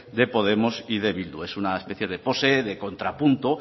de podemos y de bildu es una especie de pose de contrapunto